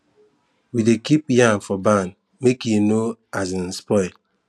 we dey keep yam for barn make e no um spoil